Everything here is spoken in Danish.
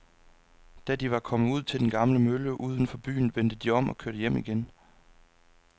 Da de var kommet ud til den gamle mølle uden for byen, vendte de om og kørte hjem igen.